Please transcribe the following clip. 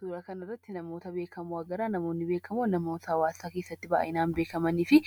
Suuraa kana irratti, namoota beekamoo agarra. Namoonni beekamoon namoota hawaasa keessatti kanneen dhiibbaa uumuun beekamanii fi